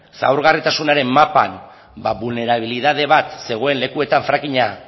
ezaugarritasunaren mapan bulnerabilitate bat zegoen lekuetan frackinga